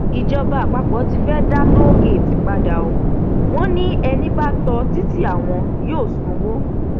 ìjọba àpapọ tí fee dá tóògèètì padà ọ wọn ni ẹni bá tó títí àwọn yóò sanwó